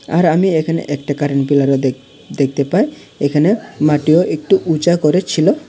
আর আমি এখানে একটা কারেন্টপিলারও দেখ-দেখতে পাই এখানে মাটিও একটু উচা করে ছিল।